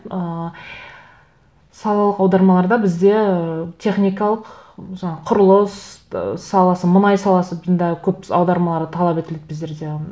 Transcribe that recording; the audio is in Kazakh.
ыыы салалық аудармаларда бізде ы техникалық жаңа құрылыс ы саласы мұнай саласы бұнда көп аудармалар талап етіледі біздерде